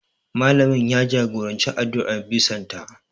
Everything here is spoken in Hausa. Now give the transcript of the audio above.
Malamin ya jagoranci addu'ar bison ta